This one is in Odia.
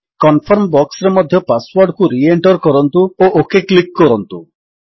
କନଫର୍ମ boxରେ ମଧ୍ୟ ପାସୱର୍ଡକୁ ରିଏଣ୍ଟର୍ କରନ୍ତୁ ଓ ଓକ୍ କ୍ଲିକ୍ କରନ୍ତୁ